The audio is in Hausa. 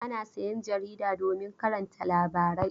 Ana sayan jarida domin karanta labarai.